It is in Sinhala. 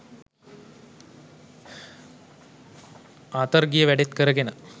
ආතර් ගිය වැඩෙත් කරගෙන